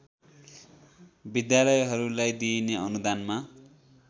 विद्यालयहरूलाई दिइने अनुदानमा